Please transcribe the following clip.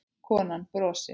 Konan brosir.